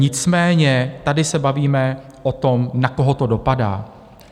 Nicméně tady se bavíme o tom, na koho to dopadá.